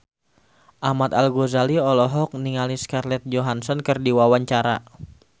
Ahmad Al-Ghazali olohok ningali Scarlett Johansson keur diwawancara